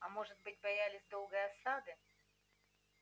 а может быть боялись долгой осады